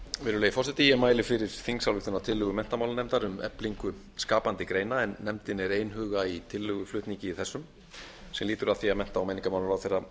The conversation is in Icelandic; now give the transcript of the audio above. virðulegi forseti ég mæli fyrir þingsályktunartillögu menntamálanefndar um eflingu skapandi greina en nefndin er einhuga í tillöguflutningi þessum sem lýtur að því að hæstvirtum mennta og menningarmálaráðherra